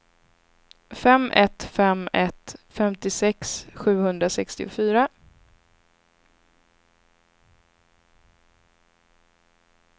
fem ett fem ett femtiosex sjuhundrasextiofyra